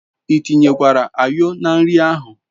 I tinyekwara ayo na nri ahu